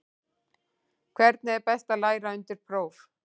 Hvernig er best að læra undir próf?